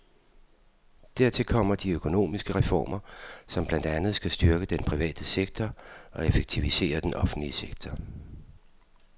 Dertil kommer de økonomiske reformer, som blandt andet skal styrke den private sektor og effektivisere den offentlige sektor.